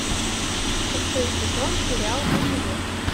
шестой сезон сериал универ